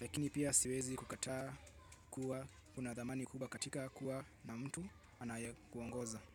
Lakini pia siwezi kukataa kuwa kunadhamani kubwa katika kuwa na mtu anaye kuongoza.